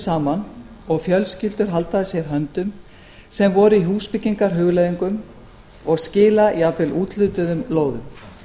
saman og fjölskyldur halda að sér höndum sem voru í húsbyggingarhugleiðingum og skila jafnvel úthlutuðum lóðum